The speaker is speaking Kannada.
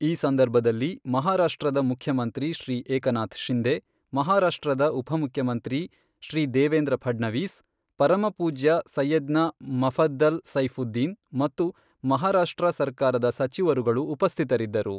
ಈ ಸಂದರ್ಭದಲ್ಲಿ ಮಹಾರಾಷ್ಟ್ರದ ಮುಖ್ಯಮಂತ್ರಿ ಶ್ರೀ ಏಕನಾಥ್ ಶಿಂಧೆ, ಮಹಾರಾಷ್ಟ್ರದ ಉಪಮುಖ್ಯಮಂತ್ರಿ ಶ್ರೀ ದೇವೇಂದ್ರ ಫಡ್ನವಿಸ್, ಪರಮಪೂಜ್ಯ ಸೈಯದ್ನಾ ಮುಫದ್ದಲ್ ಸೈಫುದ್ದೀನ್ ಮತ್ತು ಮಹಾರಾಷ್ಟ್ರ ಸರ್ಕಾರದ ಸಚಿವರುಗಳು ಉಪಸ್ಥಿತರಿದ್ದರು.